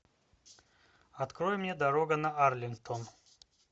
открой мне дорога на арлингтон